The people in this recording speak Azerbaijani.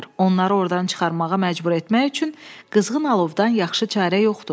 Onları ordan çıxarmağa məcbur etmək üçün qızğın alovdan yaxşı çarə yoxdur.